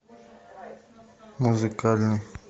музыкальный